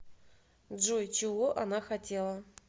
джой чего она хотела